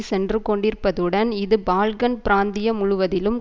சென்று கொண்டிருப்பதுடன் இது பால்கன் பிராந்தியம் முழுவதிலும்